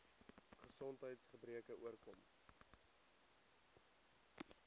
gesondheids gebreke oorkom